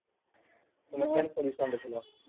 ତମେ କେନ୍ position ରେ ଥିଲ?